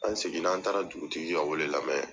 An seginna ,an taara dugutigi ka wele lamɛn